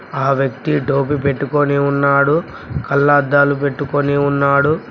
ఆ వ్యక్తి టోపీ పెట్టుకోని ఉన్నాడు కళ్లద్దాలు పెట్టుకొని ఉన్నాడు.